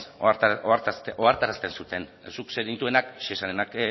ohartarazten zuten zuk zenituenak shesarenak